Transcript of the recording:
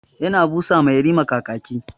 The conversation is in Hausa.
Ya na busa ma yarima kakaki.